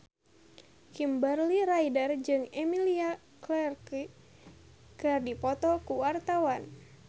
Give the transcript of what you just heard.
Kimberly Ryder jeung Emilia Clarke keur dipoto ku wartawan